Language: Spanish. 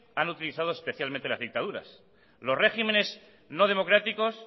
han utilizado especialmente las dictaduras los régimenes no democráticos